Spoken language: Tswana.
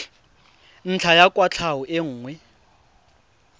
ntlha ya kwatlhao e nngwe